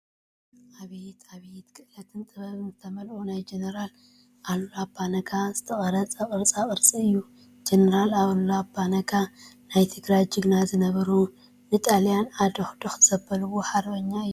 ኣብየት! ኣብየት! ኽእለትን ጥበብን ዝተመለኦ ናይ ጀነራል ኣሉላ ኣባ-ነጋ ዝተቀረፀ ቅርፃ ቅርፂ እዩ። ጀነራል ኣሉላ ኣባ ነጋ ናይ ትግራይ ጅግና ዝነበሩ ንጣልያ ዓደቁዶክ ዘበልዎ ሓርበኛ እዮም።